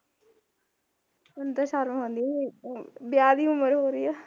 ਹੁਣ ਤਾਂ ਸ਼ਰਮ ਆਉਂਦੀ ਐ ਵਿਆਹ ਦੀ ਉਮਰ ਹੋ ਰਹੀ ਆ